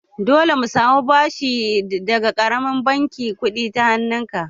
Dole mu samu bashin daga ƙaramin bankin kuɗin ta hannun ka!